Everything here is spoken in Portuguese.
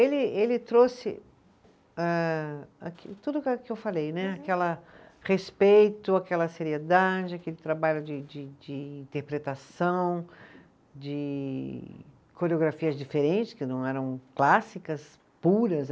Ele ele trouxe âh, tudo o que eu falei né, aquela respeito, aquela seriedade, aquele trabalho de de de interpretação, de coreografias diferentes, que não eram clássicas, puras.